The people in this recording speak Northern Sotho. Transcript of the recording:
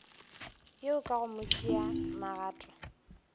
yeo ka go tšea magato